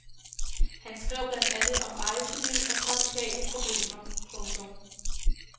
Han skrev blandt andet om rejseliv og trafikale problemer. punktum